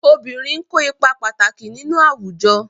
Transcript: Obìnrin n ko ipa pàtàkì nínú àwùjọ.